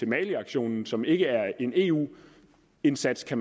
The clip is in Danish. maliaktionen som ikke er en eu indsats der